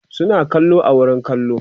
suna kallo a wurin kallo